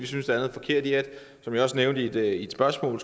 synes hvad jeg også nævnte i et spørgsmål